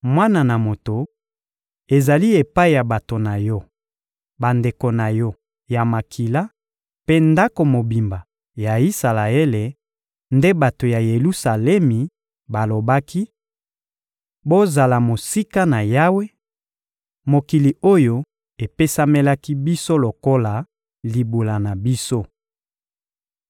«Mwana na moto, ezali epai ya bato na yo, bandeko na yo ya makila mpe ndako mobimba ya Isalaele nde bato ya Yelusalemi balobaki: ‹Bozala mosika na Yawe; mokili oyo epesamelaki biso lokola libula na biso.›